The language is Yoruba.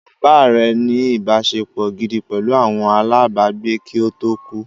Bàbá rẹ̀ ní “ ìbáṣepọ̀ gidi pẹ̀lú àwọn alábàágbé kí ó tó kú